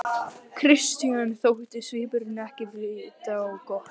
Christian þótti svipurinn ekki vita á gott.